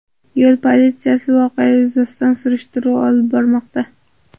Yo‘l politsiyasi voqea yuzasidan surishtiruv olib bormoqda.